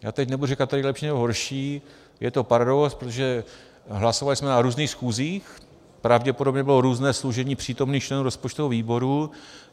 Já teď nebudu říkat tady lepší, nebo horší, je to paradox, protože hlasovali jsme na různých schůzích, pravděpodobně bylo různé složení přítomných členů rozpočtového výboru.